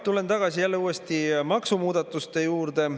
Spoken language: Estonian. Tulen jälle tagasi maksumuudatuste juurde.